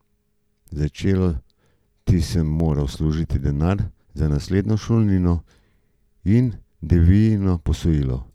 Začeti sem moral služiti denar za naslednjo šolnino in Devijino posojilo.